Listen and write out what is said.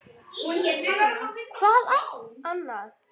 Hvað annað?!